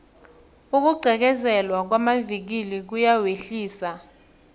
ukugqekezelwa kwamavikili kuyawehlisa